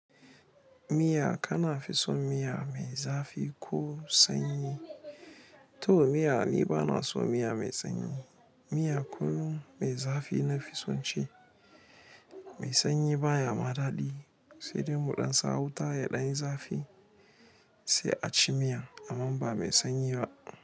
Miya kana fi son miya mai zafi ko sanyi? To miya ni bana son miya mai sanyi. Miya kullum mai zafi na fi son ci. Mai sanyi baya ma daɗi. Sai dai mu ɗan sa wuta ya ɗan zafi sai a ci miyan, aman ba mai sanyi ba.